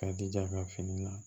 K'a jija ka fini la